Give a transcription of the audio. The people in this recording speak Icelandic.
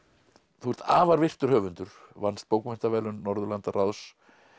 þú ert afar virtur höfundur vannst bókmenntaverðlaun Norðurlandaráðs